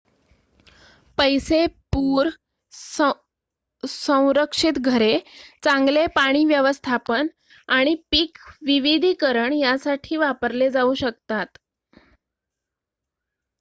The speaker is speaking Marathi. पैसे पूर-संरक्षित घरे चांगले पाणी व्यवस्थापन आणि पीक विविधीकरण यासाठी वापरले जाऊ शकतात